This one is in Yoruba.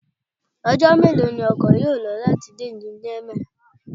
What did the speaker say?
Ọjọ́ mélòó ni ọkọ yó lò láti dé ìlú Niamey?